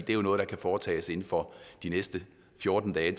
jo noget der kan foretages inden for de næste fjorten dage